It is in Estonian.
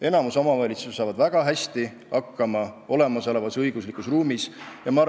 Enamik omavalitsusi saab olemasolevas õiguslikus ruumis väga hästi hakkama.